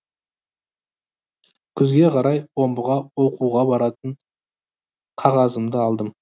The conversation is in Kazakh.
күзге қарай омбыға оқуға баратын қағазымды алдым